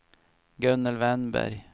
Gunnel Wennberg